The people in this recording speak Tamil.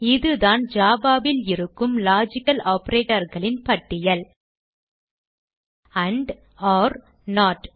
இதுதான் java ல் இருக்கும் லாஜிக்கல் operatorகளின் பட்டியல் ஆண்ட் ஒர் நோட்